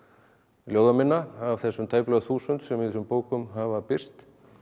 ljóða minna af þessum tæplega þúsund sem í þessum bókum hafa birst